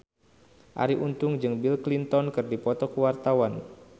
Arie Untung jeung Bill Clinton keur dipoto ku wartawan